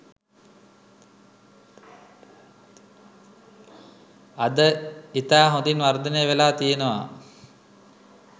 අද ඉතා හොඳින් වර්ධනය වෙලා තියෙනවා.